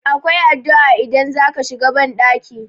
akwai addu'a idan za a shiga bandaki